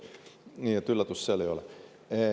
Nii et üllatust seal ei ole.